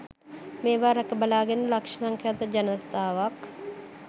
මේවා රැක බලාගෙන ලක්ෂ සංඛ්‍යාත ජනතාවක්